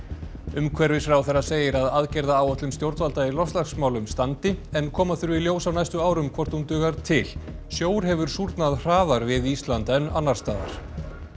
umhverfisráðherra segir að aðgerðaráætlun stjórnvalda í loftslagsmálum standi en koma þurfi í ljós á næstu árum hvort hún dugar til sjór hefur súrnað hraðar við Ísland en annars staðar